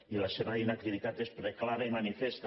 i la seva inactivitat és preclara i manifesta